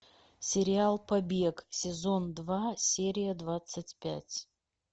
сериал побег сезон два серия двадцать пять